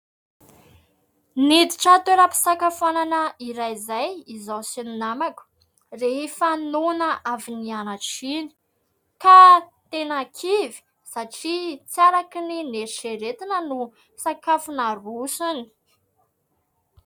Niditra toeram-pisakafoanana iray izay izaho sy ny namako rehefa noana avy nianatra iny, ka tena kivy satria tsy araka ny noeritreretina ny sakafo narosony.